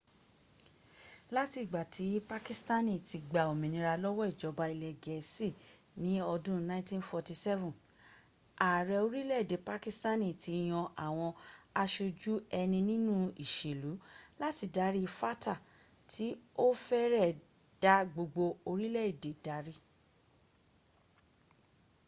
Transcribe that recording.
láti ìgbà tí pakistani ti gba òmìnira lọ́wọ́ ìjọba ilẹ̀ gẹ̀ẹ́sì ni ọdún 1947 ààrẹ orílẹ̀̀èdè pakistani ti yan àwọn aṣojú-ẹni nínú ìṣèlú” láti darí fata tí ó fẹ́rẹ̀ ẹ́ dá gbogbo orílẹ̀ èdè darí